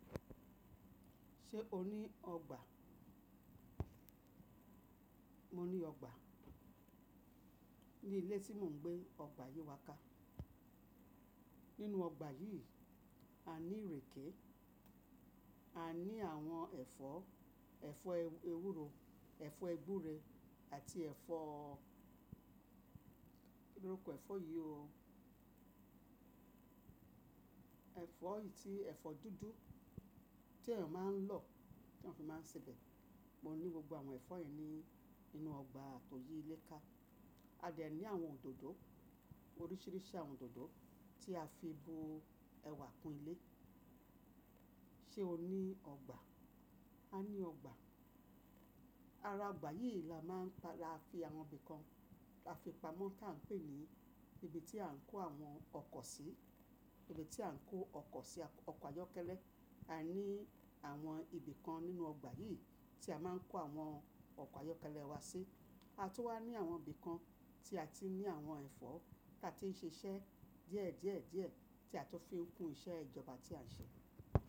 Ṣé o ní ọgbà? Mo ní ọgbà. Ni ilé tí mò ń gbé, ọgbà yí wà ká. Nínú ọgbà yìí, a ní ìrèké, a ní àwọn ẹ̀fọ́, ẹ̀fọ́ ewúro, ẹ̀fọ́ ẹgbúre àti ẹ̀fọ́ Kíni orúkọ ẹ̀fọ́ yìí o? Ẹ̀fọ́ yìí tí ẹ̀fọ́ dúdú tí eniyan máa ń lò, tí wọ́n fi máa ń sèbẹ̀. Mo ní gbogbo àwọn ẹ̀fọ́ yìí ní inú ọgbà tó yí ilé ká. A dẹ̀ ní àwọn òdòdó, oríṣìíríṣìí àwọn òdòdó tí a fi bo ẹwà kún ilé. Ṣé o ní ọgbà? A ní ọgbà. Ara ọgbà yìí la máa ń ta, la fi àwọn ibìkan, la fi pamọ́ tí à ń pè ní ibi tí à ń kó àwọn ọkọ̀ sí, ibi tí à ń kó ọkọ̀ sí, ọkọ̀ ayọ́kẹ́lẹ́. A ní àwọn ibìkan nínú ọgbà yìí tí a máa ń kó àwọn ọkọ̀ ayọ́kẹ́lẹ́ wa sí. A tún wá ní àwọn ibìkan tí a ti ní àwọn ẹ̀fọ́ tí a ti ń ṣiṣẹ́ díẹ̀ díẹ̀ díẹ̀ tí a tó fi ń kun iṣẹ́ ìjọba tí à ń ṣe.